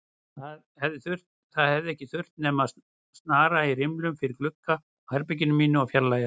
Það hefði ekki þurft nema að snara rimlum fyrir gluggann á herberginu mínu og fjarlægja